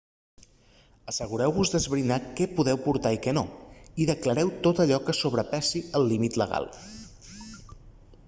assegureu-vos d'esbrinar què podeu portar i què no i declareu tot allò que sobrepassi el límit legal